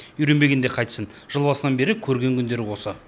үйренбегенде қайтсін жыл басынан бері көрген күндері осы